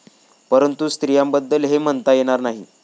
परंतु स्त्रियांबद्दल हे म्हणता येणार नाही.